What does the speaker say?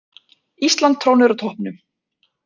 Ísland trónir á toppnum